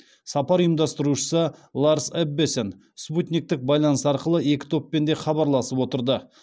сапар ұйымдастырушысы ларс эббесен спутниктік байланыс арқылы екі топпен де хабарласып отырды